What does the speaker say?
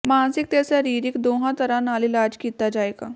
ਮਾਨਸਿਕ ਤੇ ਸਰੀਰਕ ਦੋਹਾਂ ਤਰ੍ਹਾਂ ਨਾਲ ਇਲਾਜ ਕੀਤਾ ਜਾਏਗਾ